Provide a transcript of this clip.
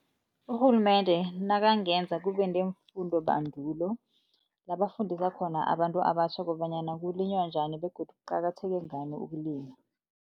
Urhulumende nakangenza kubeneemfundo bandulo la bafundela khona abantu abatjha kobanyana kulinywa njani begodu kuqakatheke ngani ukulima.